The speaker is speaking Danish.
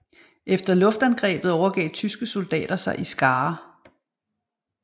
Efter luftangrebet overgav tyske soldater sig i skarer